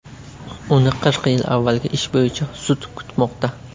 Uni qirq yil avvalgi ish bo‘yicha sud kutmoqda.